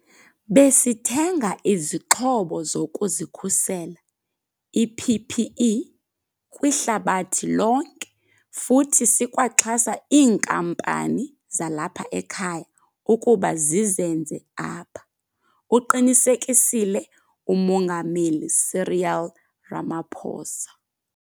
"Besithenga izixhobo zokuzikhusela, i-PPE, kwihlabathi lonke futhi sikwaxhasa iinkampani zalapha ekhaya ukuba zizenze apha," uqinisekisile uMongameli Cyril Ramaphosa.